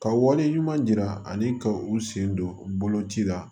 Ka wale ɲuman yira ani ka u sen don boloci la